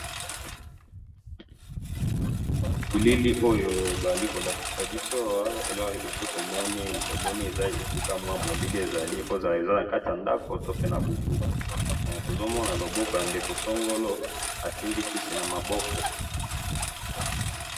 Ezali moto asimbi kisi na maboko.